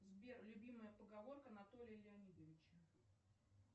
сбер любимая поговорка анатолия леонидовича